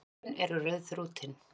Augun eru rauðþrútin.